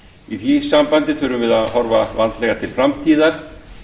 í því sambandi þurfum við að horfa vandlega til framtíðar